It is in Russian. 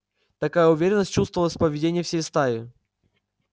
такая уверенность чувствовалась в поведении всей стаи